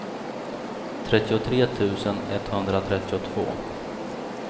trettiotre tusen etthundratrettiotvå